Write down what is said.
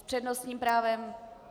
S přednostním právem?